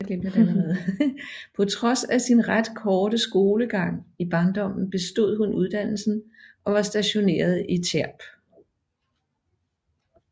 På trods af sin ret korte skolegang i barndommen bestod hun uddannelsen og var stationeret i Tierp